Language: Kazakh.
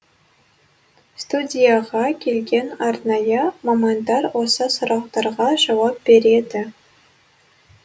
студияға келген арнайы мамандар осы сұрақтарға жауап береді